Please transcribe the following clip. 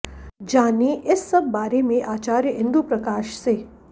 जानें इस सब बारें में आचार्य इंदु प्रकाश से